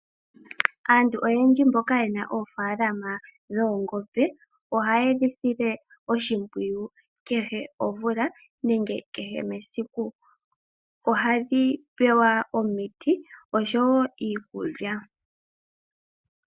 Aantu oyendji mboka ye na oofalalama dhoongombe ohaye dhi sile oshimpwiyu kehe omvula nenge kehe mesiku. Ohadhi pewa omiti oshowo iikulya.